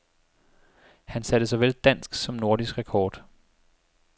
Han satte såvel dansk som nordisk rekord.